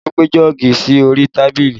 Olu gbé jọ́ọ̀gì sí orí tábìlì